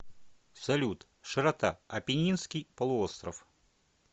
салют широта апеннинский полуостров